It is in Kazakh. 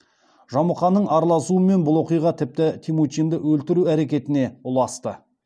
жамұқаның араласуымен бұл оқиға тіпті темучинді өлтіру әрекетіне ұласты